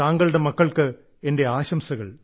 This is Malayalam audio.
താങ്കളുടെ മക്കൾക്ക് എന്റെ ആശംസകൾ